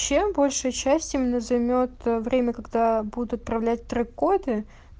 чем больше часть именно займёт время когда будут отправлять трек-коды